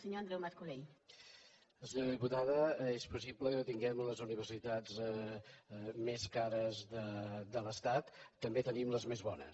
senyora diputada és possible que tinguem les universitats més cares de l’estat també tenim les més bones